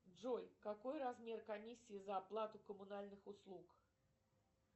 джой какой размер комиссии за оплату коммунальных услуг